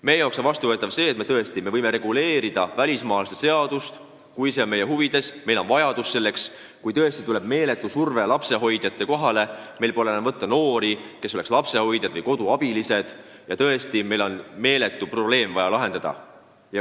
Meie jaoks on vastuvõetav muuta välismaalaste seadust, kui see on meie huvides, kui meil on selleks vajadus, kui tõesti tuleb meeletu vajadus lapsehoidjaid palgata ja meil pole enam võtta noori, kes tahaks lapsehoidjad või koduabilised olla, ja tõesti on tarvis meeletu probleem lahendada.